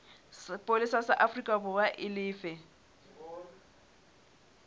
sepolesa sa aforikaborwa e lefe